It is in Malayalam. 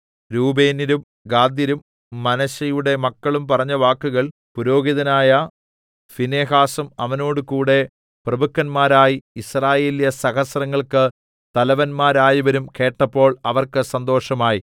രൂബേന്യരും ഗാദ്യരും മനശ്ശെയുടെ മക്കളും പറഞ്ഞ വാക്കുകൾ പുരോഹിതനായ ഫീനെഹാസും അവനോടുകൂടെ പ്രഭുക്കന്മാരായി യിസ്രായേല്യസഹസ്രങ്ങൾക്ക് തലവന്മാരായവരും കേട്ടപ്പോൾ അവർക്ക് സന്തോഷമായി